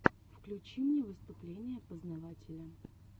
включи мне выступления познавателя